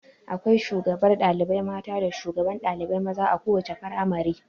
Akwai shugabar ɗalibai mata da shugaban ɗalibai maza a kowace firamare.